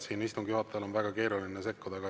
Siin on istungi juhatajal väga keeruline sekkuda.